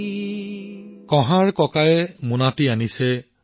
খুলি কুমাৰৰ মোনাটো দেখিলে